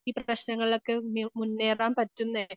പ്രശ്നങ്ങളൊക്കെ മുന്നേറാൻ പറ്റുന്നേ